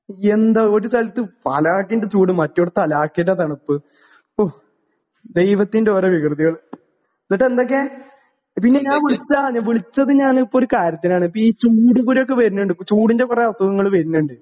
എന്താ ഒരു സ്ഥലത്ത് അലക്കിന്റെ ചൂട് മറ്റേ സ്ഥലത്ത് അലാക്കിന്റെ തണുപ്പ് ഓ ദൈവത്തിന്റെ ഓരോ വികൃതികൾ ഇന്നിട്ടെന്തൊക്കെ പിന്നെ ഞാൻ വുളിച്ചാന് വിളിച്ചത് ഞാനിപ്പൊ ഒരു കാര്യത്തിനാണ് ഇപ്പീ ചൂട് കൂരൊക്കെ വെര്നിണ്ട് ചൂടിന്റെ കൊറേ അസുഖങ്ങള് വെര്നിണ്ട്.